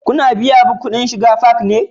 Ku na biyan kudin shiga fak ne?